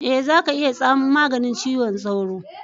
Ee, za ka iya tsamu maganin ciwon tsoro.